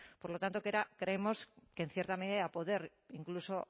por lo tanto creemos que en cierta medida a poder incluso